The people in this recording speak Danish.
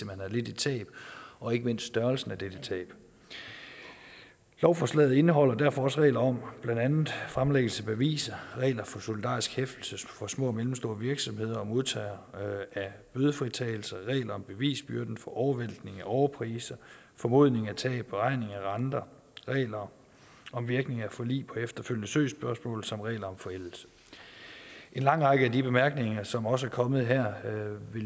man har lidt et tab og ikke mindst størrelsen af dette tab lovforslaget indeholder derfor også regler om blandt andet fremlæggelse af beviser regler for solidarisk hæftelse for små og mellemstore virksomheder og modtagere af bødefritagelser regler om bevisbyrden for overvæltning af overpriser formodning af tab beregning af renter regler om virkning af forlig på efterfølgende søgsspørgsmål samt regler om forældelse en lang række af de bemærkninger som også er kommet her vil